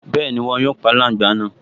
Bẹ́ẹ̀ni, wọn yóò pa aláǹgbá náà